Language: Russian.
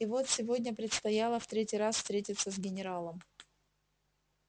и вот сегодня предстояло в третий раз встретиться с генералом